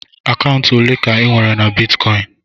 Akaụntụ ole ka inwere na bitkọịn?